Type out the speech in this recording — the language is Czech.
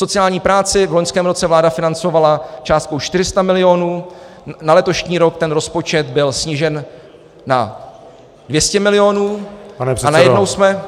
Sociální práci v loňském roce vláda financovala částkou 400 milionů, na letošní rok ten rozpočet byl snížen na 200 milionů, a najednou jsme -